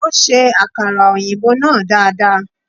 Ó ṣe akara òyìnbó náà dada.